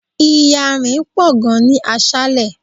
Iyanrin pò gan ni aṣále.